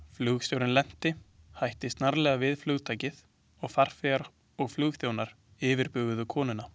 Flugstjórinn lenti hætti snarlega við flugtakið og farþegar og flugþjónar yfirbuguðu konuna.